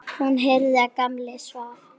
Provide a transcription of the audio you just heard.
Hún heyrði að Gamli svaf.